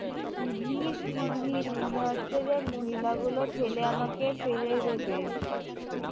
কি ভীড় কি ভীড় মনে হচ্ছে যে মহিলাগুলো ঠেলে আমাকে ফেলে দেবে